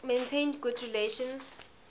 maintained good relations